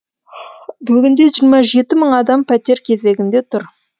бүгінде жиырма жеті мың адам пәтер кезегінде тұр